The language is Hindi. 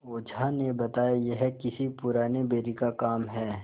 ओझा ने बताया यह किसी पुराने बैरी का काम है